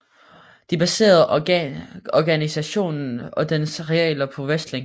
De baserede organisationen og dens regler på wrestling